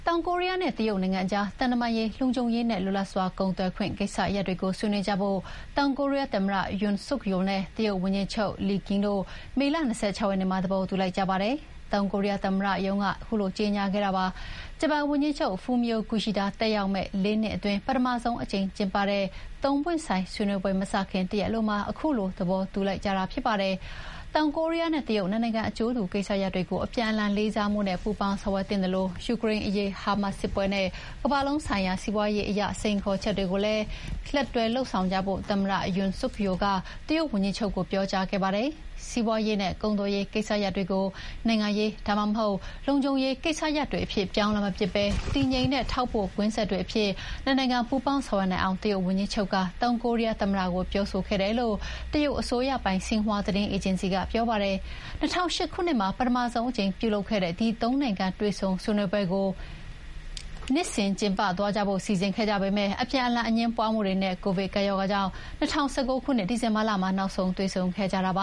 ောင်ကိုရီးယားနဲ့ တရုတ်နိုင်ငံကြား သံတမန်ရေး၊ လုံခြုံရေးနဲ့ လွတ်လပ်စွာကုန်သွယ်ခွင့် ကိစ္စရပ်တွေကို ဆွေးနွေးကြဖို့ တောင်ကိုရီးယားသမ္မတ Yoon Suk Yeol နဲ့ တရုတ်ဝန်ကြီးချုပ် Li Qiang တို့ မေလ ၂၆ ရက်နေ့မှာ သဘောတူလိုက်ကြောင်း တောင်ကိုရီးယားသမ္မတရုံးက ကြေညာပါတယ်။ ဂျပန်ဝန်ကြီးချုပ် Fumio Kishida တက်ရောက်မယ့် ၄ နှစ်အတွင်း ပထမဆုံးအကြိမ်ကျင်းပတဲ့ ၃ ပွင့်ဆိုင်ဆွေးနွေးပွဲမစခင် တရက်အလိုမှာ အခုလိုသဘောတူလိုက်ကြတာဖြစ်ပါတယ်။ တောင်ကိုရီးယားနဲ့တရုတ် နှစ်နိုင်ငံအကျိုးတူကိစ္စရပ်တွေကို အပြန်အလှန်လေးစားမှုနဲ့ ပူးပေါင်းဆောင်ရွက်သင့်သလို ယူကရိန်း၊ အစ္စရေး-ဟာမတ်စ်စစ်ပွဲနဲ့ ကမ္ဘာလုံးဆိုင်ရာစီးပွားရေးအရ စိန်ခေါ်ချက်တွေကိုလည်း လက်တွဲလုပ်ဆောင်ကြဖို့ သမ္မတ Yoon Suk Yeol က တရုတ်ဝန်ကြီးချုပ်ကို ပြောကြားခဲ့ပါတယ်။ စီးပွါးရေးနဲ့ကုန်သွယ်ရေးကိစ္စရပ်တွေကို နိုင်ငံရေး၊ ဒါမှမဟုတ် လုံခြုံရေးကိစ္စရပ်တွေအဖြစ် ပြောင်းမပစ်ဘဲ တည်ငြိမ်တဲ့ထောက်ပို့ကွင်းဆက်တွေအဖြစ် နှစ်နိုင်ငံပူးပေါင်းဆောင်ရွက်နိုင်အောင် တရုတ်ဝန်ကြီးချုပ်က တောင်ကိုရီးယားသမ္မတကို ပြောဆိုခဲ့တယ်လို့ တရုတ်အစိုးရပိုင် ဆင်ဟွာသတင်းအေဂျင်စီက ပြောပါတယ်။ ၂၀၀၈ ခုနှစ်မှာ ပထမဆုံးအကြိမ် ပြုလုပ်ခဲ့တဲ့ ဒီ ၃ နိုင်ငံ တွေ့ဆုံဆွေးနွေးပွဲကို နှစ်စဉ်ကျင်းပသွားကြဖို့ စီစဉ်ခဲ့ကြပေမယ့် အပြန်အလှန်အငြင်းပွါးမှုတွေနဲ့ ကိုဗစ်ကပ်ရောဂါကြောင့် ၂၀၁၉ ခုနှစ် ဒီဇင်ဘာလမှာ နောက်ဆုံးတွေ့ဆုံခဲ့ကြတာပ